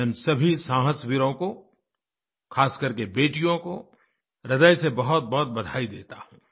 मैं इन सभी साहसी वीरों को ख़ासकर के बेटियों को ह्रदय से बहुतबहुत बधाई देता हूँ